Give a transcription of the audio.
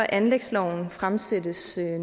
anlægsloven fremsættes